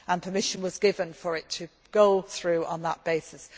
of Somalia. Permission was given for it to go through on